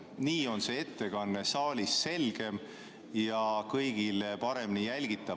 Nii on ettekanne saalis selgem ja kõigile paremini jälgitav.